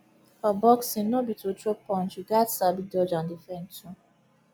for boxing no be to throw punch you gats sabi dodge and defend too